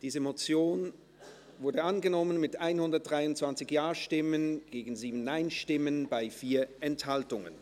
Sie haben diese Motion angenommen, mit 123 Ja- gegen 7 Nein-Stimmen bei 4 Enthaltungen.